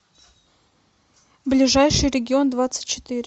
ближайший регион двадцать четыре